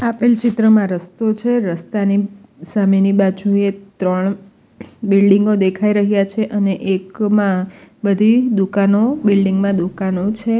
આપેલ ચિત્રમાં રસ્તો છે રસ્તાની સામેની બાજુએ ત્રણ બિલ્ડીંગ ઑ દેખાઈ રહ્યા છે અને એકમાં બધી દુકાનો બિલ્ડીંગ માં દુકાનો છે.